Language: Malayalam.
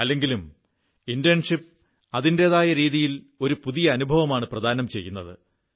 അല്ലെങ്കിലും ഇന്റേൺഷിപ്പ് അതിന്റെതായ രീതിയിൽ ഒരു പുതിയ അനുഭവമാണ് പ്രദാനം ചെയ്യുന്നത്